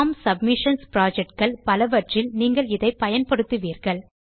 form submissions project கள் பலவற்றில் நீங்கள் இதை பயன்படுத்துவீர்கள்